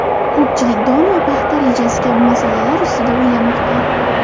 Ko‘pchilik don va paxta rejasi kabi masalalar ustida o‘ylamoqda.